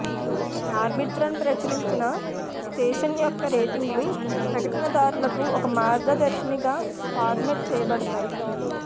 Arbitron ప్రచురించిన station యొక్క రేటింగ్లు ప్రకటనదారులకు ఒక మార్గదర్శినిగా ఫార్మాట్ చేయబడతాయి